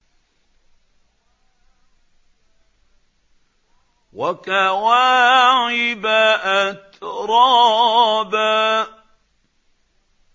وَكَوَاعِبَ أَتْرَابًا